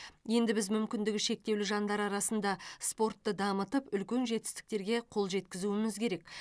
енді біз мүмкіндігі шектеулі жандар арасында спортты дамытып үлкен жетістіктерге қол жеткізуіміз керек